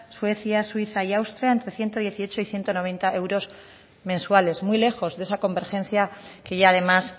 suecia suiza y austria entre ciento dieciocho y ciento noventa euros mensuales muy lejos de esa convergencia que ya además